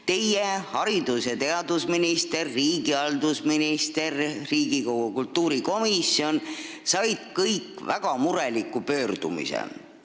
Teie olete ning haridus- ja teadusminister, riigihalduse minister ja Riigikogu kultuurikomisjon on saanud väga mureliku pöördumise.